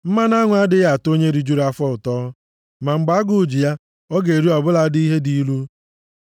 Mmanụ aṅụ adịghị atọ onye rijuru afọ ụtọ; ma mgbe agụụ ji ya, ọ ga-eri ọ bụladị ihe dị ilu.